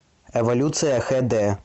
эволюция хэ дэ